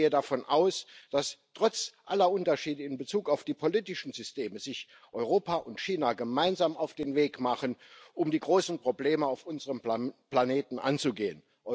Ich gehe davon aus, dass sich Europa und China trotz aller Unterschiede in Bezug auf die politischen Systeme gemeinsam auf den Weg machen, um die großen Probleme auf unserem Planeten anzugehen.